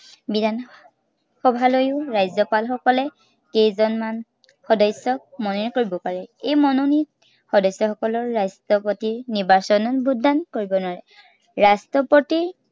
বিধানসভালৈও ৰাজ্য়পাল সকলে কেইজনমান সদস্য়ক মনোনীত কৰিব পাৰে। এই মনোনীত সদস্য়সকলে ৰাষ্ট্ৰপতিৰ নিৰ্বাচনত vote দান কৰিব নোৱাৰে। ৰাষ্ট্ৰপতিৰ